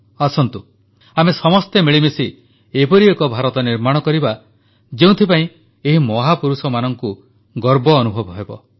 ଆସନ୍ତୁ ଆମେ ସମସ୍ତେ ମିଳିମିଶି ଏପରି ଏକ ଭାରତ ନିର୍ମାଣ କରିବା ଯେଉଁଥିପାଇଁ ଆମ ମହାପୁରୁଷଙ୍କୁ ଗର୍ବ ଅନୁଭବ ହେବ